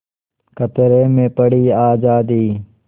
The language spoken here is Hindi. खतरे में पड़ी आज़ादी